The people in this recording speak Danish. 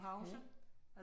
Okay